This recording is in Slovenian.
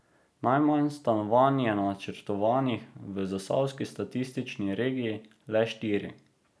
Najmanj stanovanj je načrtovanih v zasavski statistični regiji, le štiri.